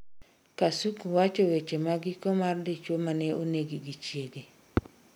Kasuku wacho weche magiko mar dichuo mane onegi gi chiege